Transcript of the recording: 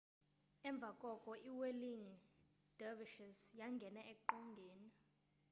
emva koko iwhirling dervishes yangena eqongeni